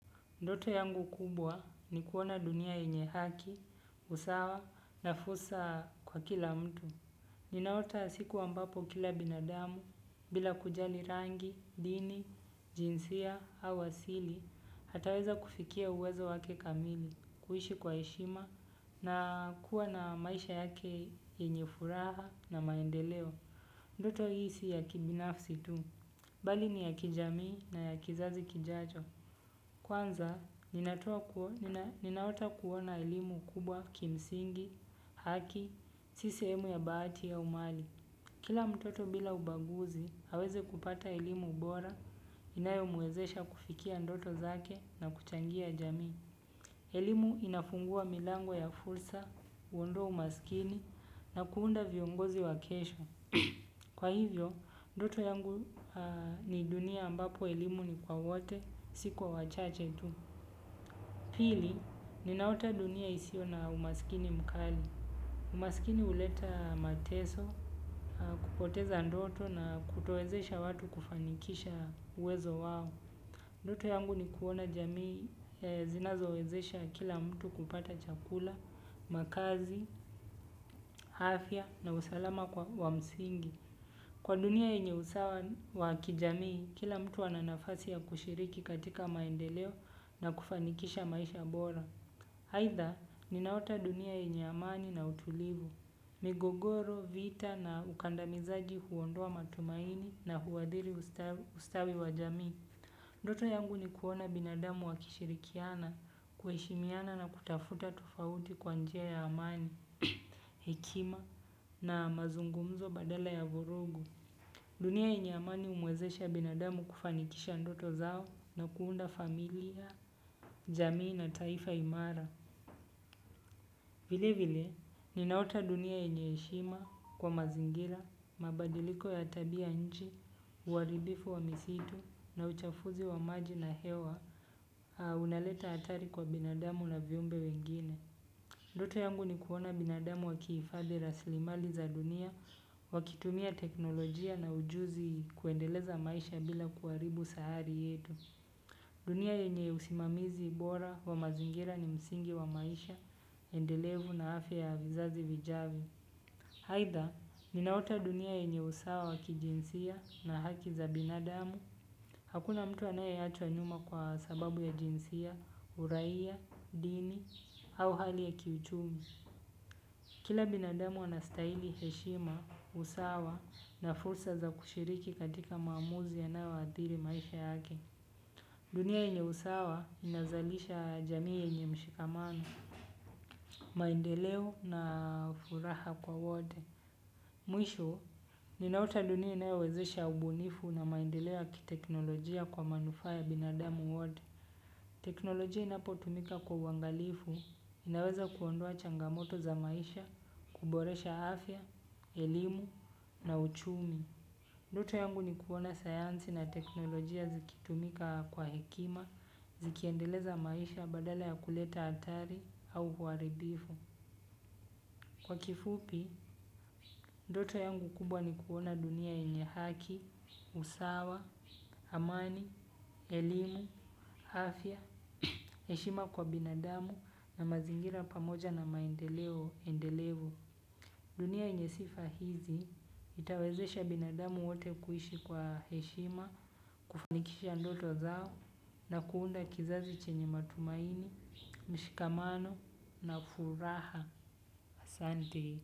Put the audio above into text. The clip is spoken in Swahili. Ndoto yangu kubwa ni kuona dunia enye haki, usawa na fursa kwa kila mtu. Ninaota siku ambapo kila binadamu, bila kujali rangi, dini, jinsia au wasili, ataweza kufikia uwezo wake kamili, kuhishi kwa heshima na kuwa na maisha yake enye furaha na maendeleo. Ndoto hii si ya kibinafsi tu. Bali ni ya kijamii na ya kizazi kijacho. Kwanza, ninaota kuwa na elimu kubwa kimsingi, haki, sisehemu ya bahati au umali. Kila mtoto bila ubaguzi, haweze kupata elimu bora, inayo muwezesha kufikia ndoto zake na kuchangia jamii. Elimu inafungua milango ya fulsa, uondoa umaskini, na kuunda viongozi wa kesho. Kwa hivyo, ndoto yangu ni dunia ambapo elimu ni kwa wote, si kwa wachache tu pili, ninaota dunia isio na umasikini mkali. Umasikini uleta mateso, kupoteza ndoto na kutowezesha watu kufanikisha uwezo wao. Ndoto yangu ni kuona jamii zinazowezesha kila mtu kupata chakula, makazi, afya na usalama kwa wamsingi. Kwa dunia enye usawa wa kijamii, kila mtu ana nafasi ya kushiriki katika maendeleo na kufanikisha maisha bora. Aidha ninaota dunia enye amani na utulivu, migogoro, vita na ukandamisaji huondoa matumaini na huadiri ustawi wa jamii. Ndoto yangu ni kuona binadamu wakishirikiana, kueshimiana na kutafuta tofauti kwa njia ya amani, hekima na mazungumzo badala ya vurugu. Dunia enye amani umwezesha binadamu kufanikisha ndoto zao na kuunda familia, jamii na taifa imara. Vili vili, ninaota dunia enye heshima kwa mazingira, mabadiliko ya tabia nchi, uwaribifu wa misitu na uchafuzi wa maji na hewa, unaleta hatari kwa binadamu na viumbe wengine. Ndoto yangu ni kuona binadamu wakiifadhi raslimali za dunia, wakitumia teknolojia na ujuzi kuendeleza maisha bila kuwaribu sahari yetu. Dunia enye usimamizi bora wa mazingira ni msingi wa maisha, endelevu na afya ya vizazi vijavyo. Haidha, ninaota dunia yenye usawa wa kijinsia na haki za binadamu. Hakuna mtu anaye achwa nyuma kwa sababu ya jinsia, uraia, dini, au hali ya kiuchumi. Kila binadamu anastaili heshima, usawa na fursa za kushiriki katika maamuzi yanayo waadhiri maisha yake. Dunia enye usawa inaezalisha jamii enye mshikamano. Maendeleo na furaha kwa wote mwisho, ninaota dunia inayowezesha ubunifu na maendeleo ya kiteknolojia kwa manufaa ya binadamu wote. Teknolojia inapo tumika kwa uwangalifu, inaweza kuondua changamoto za maisha, kuboresha afya, elimu na uchumi. Ndoto yangu ni kuona sayansi na teknolojia zikitumika kwa hekima, zikiendeleza maisha badala ya kuleta atari au huaribifu. Kwa kifupi ndoto yangu kubwa ni kuona dunia enye haki, usawa, amani, elimu, afya, heshima kwa binadamu na mazingira pamoja na maendeleo endelefu. Dunia enye sifa hizi itawezesha binadamu wote kuhishi kwa heshima, kufanikisha ndoto zao na kuunda kizazi chenye matumaini, mshikamano na furaha. ASante.